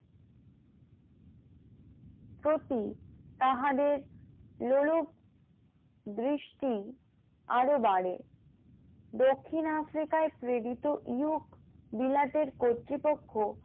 প্রতি তাহাদের লোলুপ দৃষ্টি আরো বাড়ে । দক্ষিণ আফ্রিকায় প্রেরিত ইউক বিলাতের কর্তৃপক্ষ